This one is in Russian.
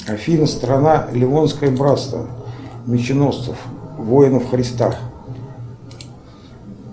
афина страна лионское братство меченосцев воинов христа